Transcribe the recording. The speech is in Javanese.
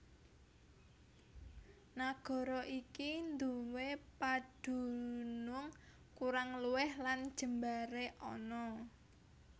Nagara iki nduwé padunung kurang luwih lan jembaré ana